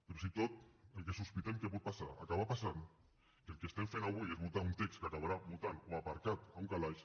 fins i tot el que sospitem que pot passar o acabar passant que el que estem fent avui és votar un text que acabarà mutant o aparcat en un calaix